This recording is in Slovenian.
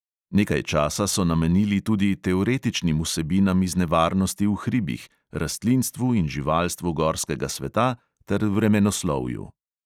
Nekaj časa so namenili tudi teoretičnim vsebinam iz nevarnosti v hribih, rastlinstvu in živalstvu gorskega sveta ter vremenoslovju.